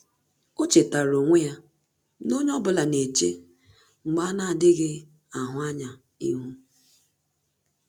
Ọ́ chètàrà onwe ya na onye ọ bụla nà-échè mgbà a nà-ádị́ghị́ áhụ́ ányá ihu.